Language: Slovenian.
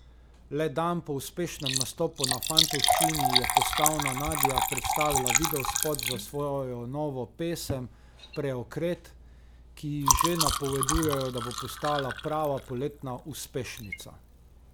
Le dan po uspešnem nastopu na fantovščini je postavna Nadja predstavila videospot za svojo novo pesem Preokret, ki ji že napovedujejo, da bo postala prava poletna uspešnica.